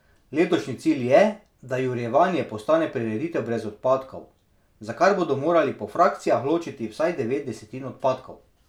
Letošnji cilj je, da Jurjevanje postane prireditev brez odpadkov, za kar bodo morali po frakcijah ločiti vsaj devet desetin odpadkov.